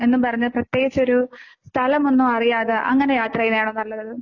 എന്നും പറഞ്ഞ് പ്രത്യേകിച്ചൊരു സ്ഥലമൊന്നും അറിയാതെ അങ്ങനെ യാത്ര ചെയ്യുന്നതാണോ നല്ലത്?